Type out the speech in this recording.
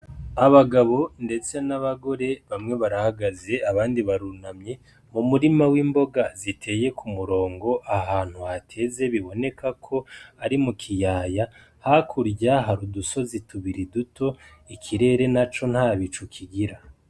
Abagabo ndetse n'abagore, bamwe barahagaze abandi barunanye mu murima w'imboga ziteye ku murongo ahantu hateze biboneka ko ari mu kiyaya. Hakurya hari udusozi tubiri duto, ikirere naco nta bicu kigira.